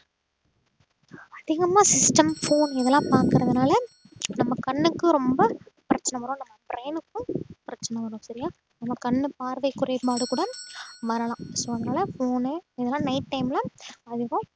அதிகமா system, phone இதெல்லாம் பாக்கறதுனால நம்ம கண்ணுக்கு ரொம்ப பிரச்சனை வரும் நம்ம brain க்கும் பிரச்சனை வரும் சரியா நம்ம கண்ணு பார்வை குறைபாடு கூட வரலாம் so அதனால phone இல்லைன்னா night time ல அதிகம்